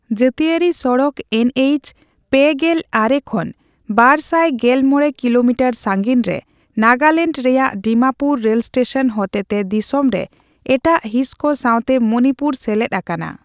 ᱡᱟᱹᱛᱤᱭᱟᱨᱤ ᱥᱚᱲᱚᱠ ᱮᱱᱹᱮᱭᱤᱪᱼ᱓᱙ ᱠᱷᱚᱱ ᱵᱟᱨᱥᱟᱭ ᱜᱮᱞᱢᱚᱲᱮ ᱠᱤᱞᱳᱢᱤᱴᱟᱨ ᱥᱟᱹᱜᱤᱧ ᱨᱮ ᱱᱟᱜᱟᱞᱮᱱᱰ ᱨᱮᱭᱟᱜ ᱰᱤᱢᱟᱯᱩᱨᱮᱨ ᱨᱮᱞ ᱥᱴᱮᱥᱚᱱ ᱦᱚᱛᱮ ᱛᱮ ᱫᱤᱥᱚᱢ ᱨᱮ ᱮᱴᱟᱜ ᱦᱤᱸᱥ ᱠᱚ ᱥᱟᱶᱛᱮ ᱢᱚᱱᱤᱯᱩᱨ ᱥᱮᱞᱮᱫ ᱟᱠᱟᱱᱟ ᱾